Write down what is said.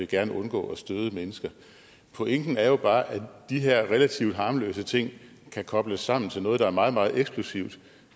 gerne vil undgå at støde mennesker pointen er jo bare at de her relativt harmløse ting kan kobles sammen til noget der er meget meget eksplosivt